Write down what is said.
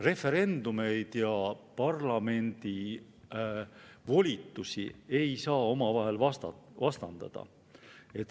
Referendumeid ja parlamendi volitusi ei saa omavahel vastandada.